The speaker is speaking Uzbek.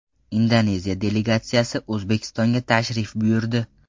Indoneziya delegatsiyasi O‘zbekistonga tashrif buyurdi.